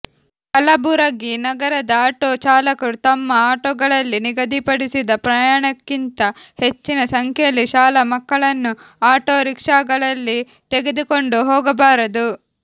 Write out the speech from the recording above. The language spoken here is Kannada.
ಕಲಬುರಗಿ ನಗರದ ಆಟೋ ಚಾಲಕರು ತಮ್ಮ ಆಟೋಗಳಲ್ಲಿ ನಿಗದಿಪಡಿಸಿದ ಪ್ರಮಾಣಕ್ಕಿಂತ ಹೆಚ್ಚಿನ ಸಂಖ್ಯೆಯಲ್ಲಿ ಶಾಲಾ ಮಕ್ಕಳನ್ನು ಆಟೋರೀಕ್ಷಾಗಳಲ್ಲಿ ತೆಗೆದುಕೊಂಡು ಹೋಗಬಾರದು